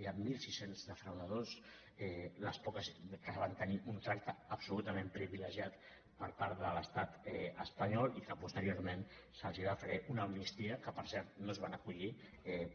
hi ha mil sis cents defraudadors que van tenir un tracte absolutament privilegiat per part de l’estat espanyol i a qui posteriorment se’ls va fer una amnistia a la qual per cert no s’hi van acollir